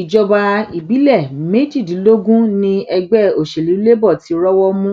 ìjọba ìbílẹ méjìdínlógún ni ẹgbẹ òsèlú labour ti rọwọ mú